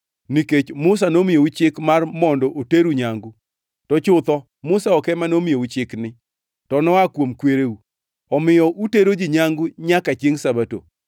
Nikech Musa nomiyou chik mar mondo oteru nyangu (to chutho Musa ok ema nomiyou chikni, to noa kuom kwereu), omiyo utero ji nyangu nyaka chiengʼ Sabato.